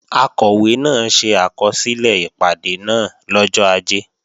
Akọ̀wé náà ṣe àkọsílẹ̀ ìpàdé náà lọ́jọ́ Ajé